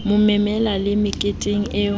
mo memela le meketeng o